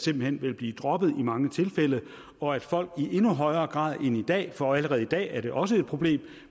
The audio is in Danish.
vil blive droppet i mange tilfælde og at folk i endnu højere grad end i dag for allerede i dag er det også et problem